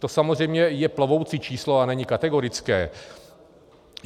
To samozřejmě je plovoucí číslo a není kategorické.